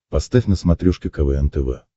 поставь на смотрешке квн тв